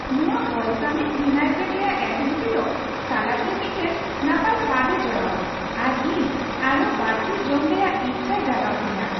ᱱᱚᱶᱟ balsamic vinaigrette ᱨᱮᱭᱟᱜ acidity ᱫᱚ ᱥᱟᱞᱟᱰ ᱨᱮ ᱢᱤᱫᱴᱟᱝ ᱱᱟᱯᱟᱭ ᱥᱟᱫᱼᱮ ᱡᱚᱲᱟᱣᱟ ᱟᱨ ᱤᱧ ᱟᱨᱦᱚᱸ ᱵᱟᱹᱲᱛᱤ ᱡᱚᱢ ᱨᱮᱭᱟᱜ ᱤᱪᱷᱟᱭ ᱡᱟᱜᱟᱣ ᱛᱤᱧᱟᱹ ᱾